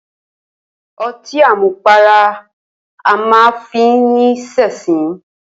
O̩tí àmupara a máa fi ni s̩è̩sín